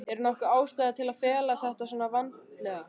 Er nokkur ástæða til að fela þetta svona vandlega?